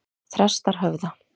Þrastarhöfða